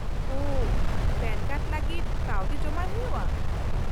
-ᱳ , PAN card ᱞᱟᱹᱜᱤᱫ ᱠᱟᱹᱣᱰᱤ ᱡᱚᱢᱟᱭ ᱦᱩᱭᱩᱜᱼᱟ ?